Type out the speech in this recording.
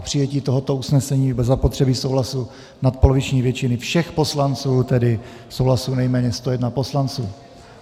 K přijetí tohoto usnesení bude zapotřebí souhlasu nadpoloviční většiny všech poslanců, tedy souhlasu nejméně 101 poslanců.